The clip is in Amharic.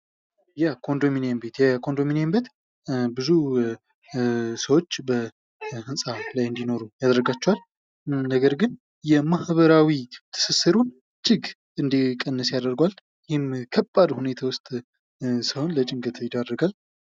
የኮንዶሚኒየም ቤት የኮንዶሚኒየም ቤት ብዙ ሰዎች በህንፃ ላይ እንዲኖሩ ያደርጋቸዋል ።ነገር ግን ማህበራዊ ትስስሩን እጅግ እንዲቀንስ ያደርገዋል። ከባድ ሁኔታ ውስጥ ሰውን ለጭንቀት ይዳርጋል።